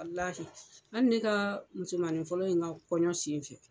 Walahi hali ne ka musomani fɔlɔ in ka kɔɲɔ sen fɛ,